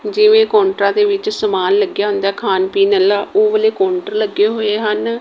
ਜਿਵੇਂ ਕੋਂਟਰਾਂ ਦੇ ਵਿੱਚ ਸਮਾਨ ਲੱਗਿਆ ਹੁੰਦੈ ਖਾਣ ਪੀਣ ਆਲਾ ਉਹ ਵਾਲੇ ਕੋਂਟਰ ਲੱਗੇ ਹੋਏ ਹਨ।